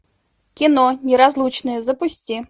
кино неразлучные запусти